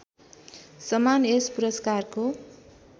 समान यस पुरस्कारको